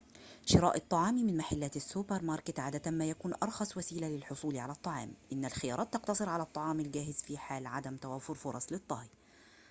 شراء الطعام من محلات السوبر ماركت عادة ما يكون أرخص وسيلة للحصول على الطعام إن الخيارات تقتصر على الطعام الجاهز في حال عدم توافر فرص للطهي